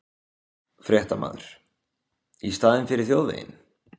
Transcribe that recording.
Fréttamaður: Í staðinn fyrir þjóðveginn?